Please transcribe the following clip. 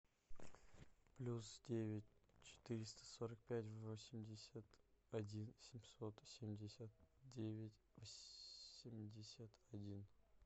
плюс девять четыреста сорок пять восемьдесят один семьсот семьдесят девять семьдесят один